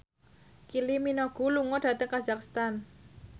Kylie Minogue lunga dhateng kazakhstan